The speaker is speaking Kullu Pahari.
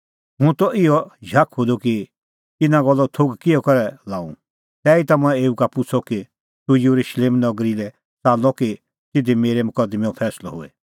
हुंह त इहअ झाखुअ द कि इना गल्लो थोघ किहअ करै लाऊं तैहीता मंऐं एऊ का पुछ़अ कि तूह येरुशलेम नगरी लै च़ाल्लअ कि तिधी तेरै मकदमैंओ फैंसलअ होए